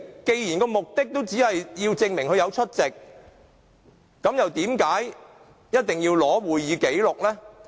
既然目的只是要證明梁國雄議員有出席會議，為何一定要索取會議紀錄呢？